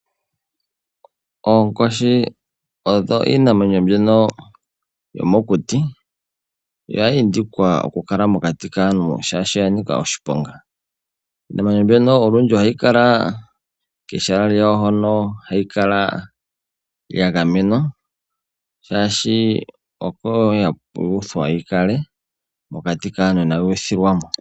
Oonkoshi odho iinamwenyo mbyono yomokuti, oya indikwa oku kala mokati kaantu shaashi oya nika oshiponga. Iinamwenyo mbyono olundji ohayi kala kehala lyawo hoka hayi kala yagamenwa shaashi oko yuuthwa yikale, mokati kaantu inayi uthilwamo.